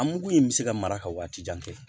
An mugu in bɛ se ka mara ka waati jan kɛ